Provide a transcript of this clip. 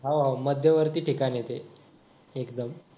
हो हो मध्यवर्ती ठिकाण येते एकदम